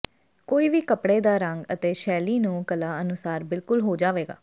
ਕੋਈ ਵੀ ਕੱਪੜੇ ਦਾ ਰੰਗ ਅਤੇ ਸ਼ੈਲੀ ਨਹੁੰ ਕਲਾ ਅਨੁਸਾਰ ਬਿਲਕੁਲ ਹੋ ਜਾਵੇਗਾ